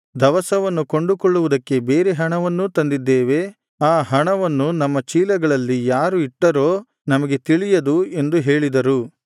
ದವಸವನ್ನು ಕೊಂಡುಕೊಳ್ಳುವುದಕ್ಕೆ ಬೇರೆ ಹಣವನ್ನೂ ತಂದಿದ್ದೇವೆ ಆ ಹಣವನ್ನು ನಮ್ಮ ಚೀಲಗಳಲ್ಲಿ ಯಾರು ಇಟ್ಟರೋ ನಮಗೆ ತಿಳಿಯದು ಎಂದು ಹೇಳಿದರು